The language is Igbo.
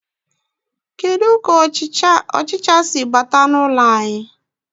Kedu ka ọchịcha si bata n'ụlọ anyị.